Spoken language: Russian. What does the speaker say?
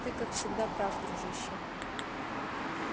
ты как всегда прав дружище